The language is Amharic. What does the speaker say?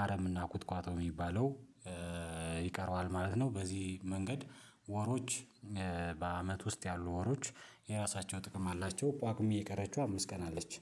አረምና እና ቁጥቋጦ የሚባለው ይቀረዋል ማለት ነው። በዚህ መንገድ ወሮች በአመት ውስጥ ያሉ ወሮች የራሳቸው ጥቅም አላቸው። ጳጉም እየቀረችው አምስት ቀን አለች